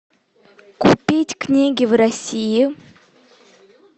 купить книги в россии